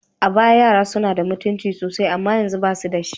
A baya, yara suna da mutunci sosai amma yanzu, ba su da shi.